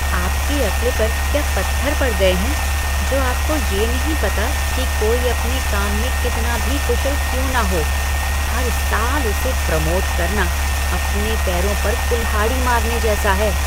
आपकी अक्ल पर क्या पत्थर पड़ गए हैं जो आपको ये नहीं पता कि कोई अपने काम में कितना भी कुशल क्यों न हो, हर साल उसे प्रमोट करना अपने पैरों पर कुल्हाड़ी मारने जैसा है?